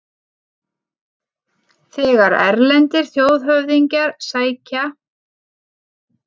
Þegar erlendir þjóðhöfðingjar sækja